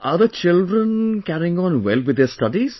Are the children carrying on well with their studies